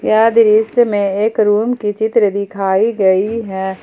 यह दृश्य में एक रूम की चित्र दिखाई गई है।